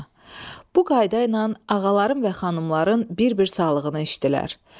Bu qaydayla ağaların və xanımların bir-bir sağlığını içdilər.